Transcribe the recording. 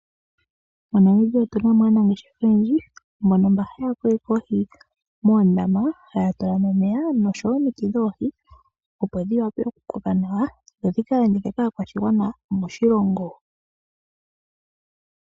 MoNamibia otu na mo aanangeshefa oyendji mbono mba haya kokeke oohi moondama, haya tula mo omeya noshowo omiti dhoohi opo dhi wape, okukoka nawa dho dhika landithwe kaakwashigwana moshilongo.